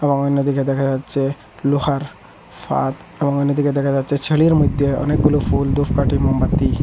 এবং অন্যদিকে দেখা যাচ্ছে লোহার ফাত এবং অন্যদিকে দেখা যাচ্ছে ছেনির মধ্যে অনেকগুলো ফুল ধুপকাঠি মোমবাতি।